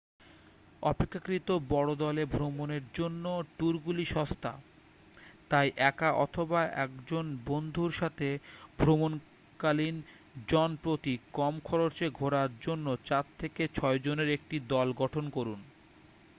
অপেক্ষাকৃত বড় দলে ভ্রমণের জন্য ট্যুরগুলি সস্তা তাই একা অথবা একজন বন্ধুর সাথে ভ্রমণকালীন জন প্রতি কম খরচে ঘোরার জন্য চার থেকে ছয়জনের একটি দল গঠন করুন